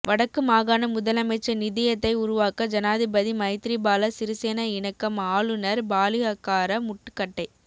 வடக்கு மாகாண முதலமைச்சர் நிதியத்தை உருவாக்க ஜனாதிபதி மைத்திரிபால சிறிசேன இணக்கம் ஆளுனர் பாலிஹக்கார முட்டுக்கட்டை